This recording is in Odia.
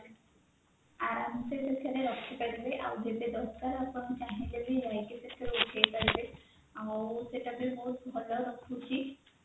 ଆରାମସେ ସେଥିରେ ରଖିପାରିବେ ଆଉ ଯେତେ ଦରକାର ଆପଣ ଚାହିଁଲେ ବି ଯାଇକି ସେଠି ଉଠେଇପାରିବେ ଆଉ ସେଟା ବି ବହୁତ ଭଲ ରଖୁଛି